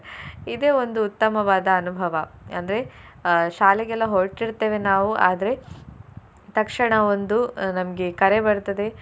ಇದೆ ಒಂದು ಉತ್ತಮವಾದ ಅನುಭವ ಅಂದ್ರೆ ಅಹ್ ಶಾಲೆಗೆಲ್ಲ ಹೊರಟಿರ್ತೇವೆ ನಾವು ಆದ್ರೆ ತಕ್ಷಣ ಒಂದು ಅಹ್ ನಮ್ಗೆ ಕರೆ ಬರ್ತದೆ.